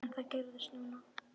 En það gerðist núna.